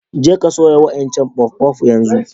Je ka soya' wa'incan puff-puff yanzu!